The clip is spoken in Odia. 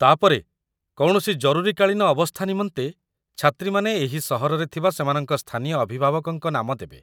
ତା'ପରେ, କୌଣସି ଜରୁରୀକାଳୀନ ଅବସ୍ଥା ନିମନ୍ତେ ଛାତ୍ରୀମାନେ ଏହି ସହରରେ ଥିବା ସେମାନଙ୍କ ସ୍ଥାନୀୟ ଅଭିଭାବକଙ୍କ ନାମ ଦେବେ